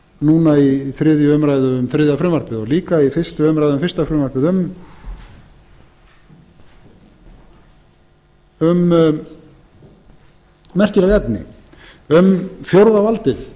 núna við þriðju umræðu um þriðja frumvarpið og líka við fyrstu umræðu um fyrsta frumvarpið um merkileg efni um fjórða valdið